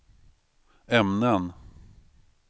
ämnen